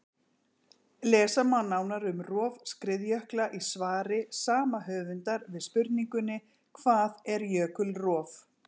Lesa má nánar um rof skriðjökla í svari sama höfundar við spurningunni Hvað er jökulrof?